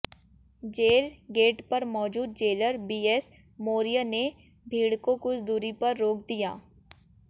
jail gate पर मौजूद jailer B S Maurya ने भीड़ को कुछ दूरी पर रोक दिया